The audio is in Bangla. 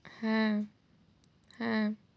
হ্যাঁ। হ্যাঁ।